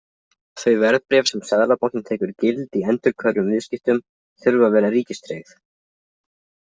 Þau verðbréf sem Seðlabankinn tekur gild í endurhverfum viðskiptum þurfa að vera ríkistryggð.